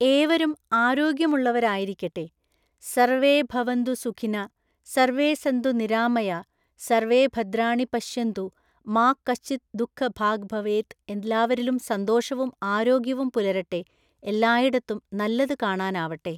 ഏവരും ആരോഗ്യമുള്ളവരായിരിക്കട്ടെ സര്‍വേ ഭവന്തു സുഖിനഃ, സര്‍വേ സന്തു നിരാമയാഃ, സര്‍വേഭദ്രാണി പശ്യന്തു, മാ കശ്ചിത് ദുഃഖ ഭാഗ്ഭവേത് എല്ലാവരിലും സന്തോഷവും ആരോഗ്യവും പുലരട്ടെ, എല്ലായിടത്തും നല്ലതു കാണാനാവട്ടെ.